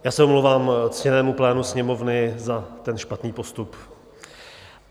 Já se omlouvám ctěnému plénu Sněmovny za ten špatný postup.